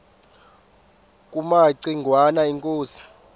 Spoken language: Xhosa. kumaci ngwana inkosi